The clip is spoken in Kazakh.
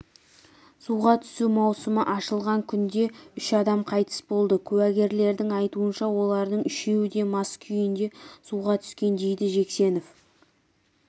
суға түсу маусымы ашылған күнде үш адам қайтыс болды куәгерлердің айтуынша олардың үшеуі де мас күйінде суға түскен дейді жексенов